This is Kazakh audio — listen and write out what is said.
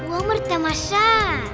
өмір тамаша